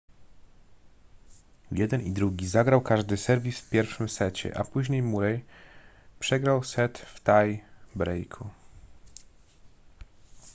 jeden i drugi zagrał każdy serwis w pierwszym secie a później murray przegrał set w tie breaku